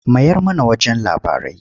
Mayar mana wajen labarai.